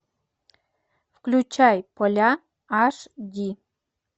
включай поля аш ди